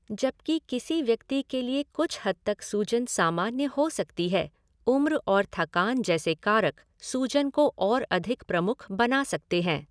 जबकि किसी व्यक्ति के लिए कुछ हद तक सूजन सामान्य हो सकती है, उम्र और थकान जैसे कारक सूजन को और अधिक प्रमुख बना सकते हैं।